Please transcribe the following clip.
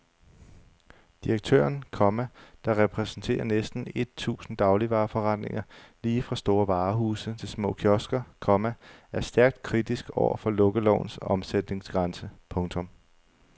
Direktøren, komma der repræsenterer næsten et tusind dagligvareforretninger lige fra store varehuse til små kiosker, komma er stærkt kritisk over for lukkelovens omsætningsgrænse. punktum